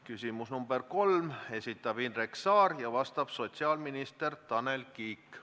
Küsimus nr 3, esitab Indrek Saar ja vastab sotsiaalminister Tanel Kiik.